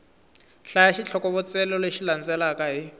hlaya xitlhokovetselo lexi landzelaka hi